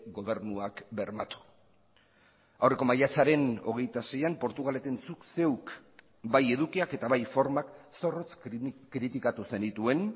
gobernuak bermatu aurreko maiatzaren hogeita seian portugaleten zuk zeuk bai edukiak eta bai formak zorrotz kritikatu zenituen